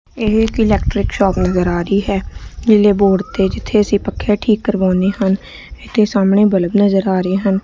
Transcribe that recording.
ਇਹ electric shop ਨਜ਼ਰ ਆ ਰਹੀ ਹੈ ਨੀਲੇ ਬੋਰਡ ਤੇ ਜਿੱਥੇ ਅਸੀਂ ਪੱਕੇ ਠੀਕ ਕਰਵਾਉਦੇ ਹਨ ਇਥੇ ਸਾਹਮਣੇ ਬਲਬ ਨਜ਼ਰ ਆ ਰਹੇ ਹਨ।